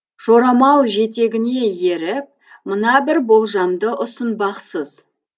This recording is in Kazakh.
жорамал жетегіне еріп мына бір болжамды ұсынбақсыз